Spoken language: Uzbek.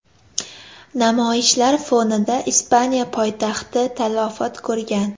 Namoyishlar fonida Ispaniya poytaxti talafot ko‘rgan.